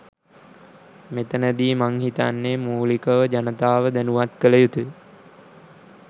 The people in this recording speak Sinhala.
මෙතැන දී මං හිතන්නෙ මූලික ව ම ජනතාව දැනුවත් කළ යුතුයි.